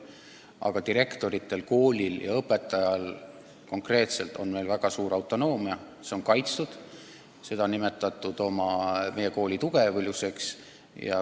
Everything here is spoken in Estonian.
Aga direktoritel, koolil ja õpetajatel konkreetselt on meil väga suur autonoomia, see on kaitstud ja seda on peetud meie kooli tugevuseks.